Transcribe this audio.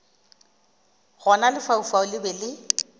gona lefaufau le be le